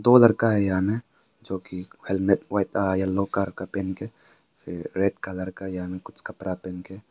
दो लड़का है यहां में जो की हेलमेट पहना है येलो कलर का पहन के रेड कलर का कपड़ा पहन के है।